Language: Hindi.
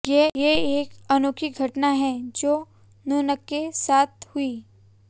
ये एक अनोखी घटना है जो नूनके साथ हुई